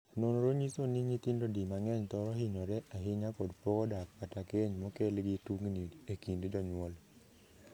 Nonro nyiso ni nyithindo di mang'eny thoro hinyore ahinya kod pogo dak kata keny mokel gi tungni e kind jonyuol.